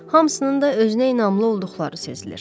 Hamısının da özünə inamlı olduqları sezilir.